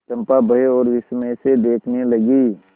चंपा भय और विस्मय से देखने लगी